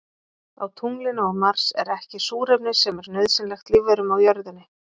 Á tunglinu og Mars er ekki súrefni sem er nauðsynlegt lífverum á jörðinni.